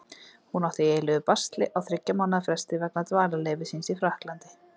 Hún átti í eilífu basli á þriggja mánaða fresti vegna dvalarleyfis síns í Frakklandi.